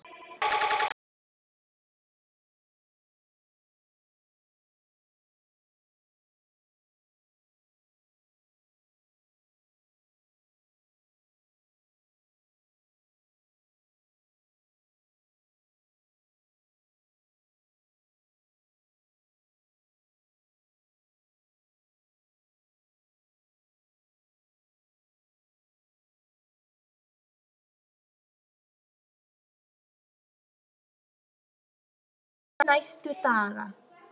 Í kvöld og næstu daga?